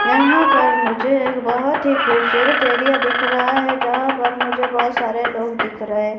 यहां पर मुझे एक बहुत ही खूबसूरत एरिया दिख रहा है यहां पर मुझे बहुत सारे लोग दिख रहे--